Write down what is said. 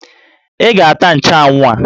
Ị ga-ata nchanwụ a!